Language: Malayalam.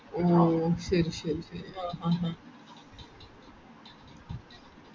ആഹ് ആഹ് ഓ ഓ ശരി ശെരി ഓ ഓ